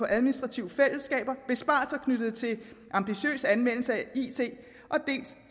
administrative fællesskaber besparelser knyttet til ambitiøs anvendelse af it dels